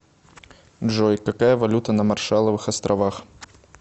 джой какая валюта на маршалловых островах